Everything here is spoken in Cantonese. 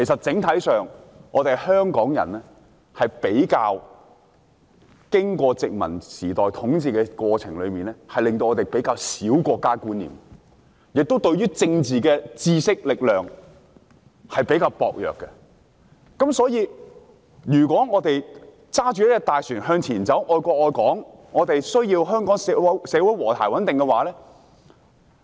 整體上，經過殖民統治後，香港人比較缺少國家觀念，政治方面的知識和力量也比較薄弱，所以，如果我們想駕這艘大船向前行駛，愛國愛港......我們需要香港社會和諧穩定。